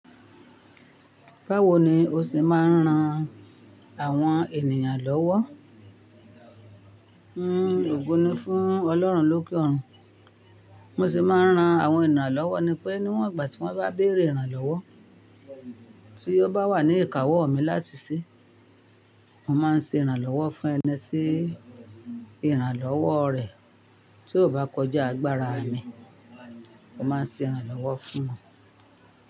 Báwo ni o ṣe máa ń ran àwọn ènìyàn lọ́wọ́? N oògùn ni fún Ọlọ́run lókè òrun, mo sì máa ń ran àwọn ènìyàn lọ́wọ́ ni pé níwọ̀n ìgbà tí wọ́n bá béèrè ìrànlọ́wọ́ tí ó bá wà ní ìkáwọ́ mi láti ṣe, mo máa ń ṣe ìrànlọ́wọ́ fún ẹni tí ìrànlọ́wọ́ rẹ̀ tí ò bá kọjá agbára mi, mo máa ń ṣe ìrànlọ́wọ́ fún wọn.